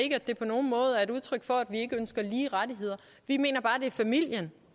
ikke at det på nogen måde er et udtryk for at vi ikke ønsker lige rettigheder vi mener bare det er familien